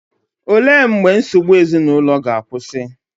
Olee mgbe nsogbu ezinụlọ ga-akwụsị?